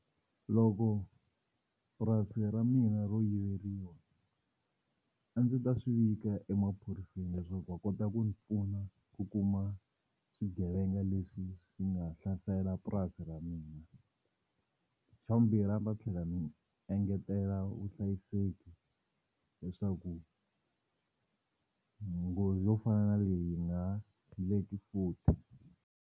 Loko purasi ra mina ro yiveriwa a ndzi ta swi vika emaphoriseni leswaku va kota ku ndzi pfuna ku kuma swigevenga leswi swi nga hlasela purasi ra mina. Xa vumbirhi a ni ta tlhela ni engetela vuhlayiseki leswaku nghozi yo fana na leyi yi nga ha futhi.